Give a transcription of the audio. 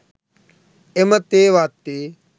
එම තේ වත්තේ